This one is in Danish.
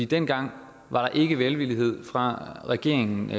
dengang var der ikke velvillighed fra regeringens